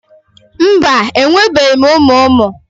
Mba, enwebeghị m ụmụ ụmụ